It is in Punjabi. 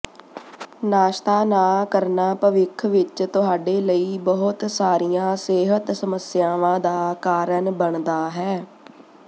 ਨਾਸ਼ਤਾ ਨਾ ਕਰਨਾ ਭਵਿੱਖ ਵਿੱਚ ਤੁਹਾਡੇ ਲਈ ਬਹੁਤ ਸਾਰੀਆਂ ਸਿਹਤ ਸਮੱਸਿਆਵਾਂ ਦਾ ਕਾਰਨ ਬਣਦਾ ਹੈ